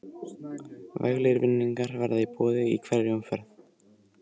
Veglegir vinningar verða í boði í hverri umferð.